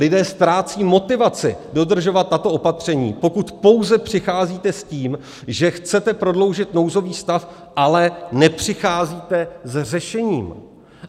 Lidé ztrácejí motivaci dodržovat tato opatření, pokud pouze přicházíte s tím, že chcete prodloužit nouzový stav, ale nepřicházíte s řešením.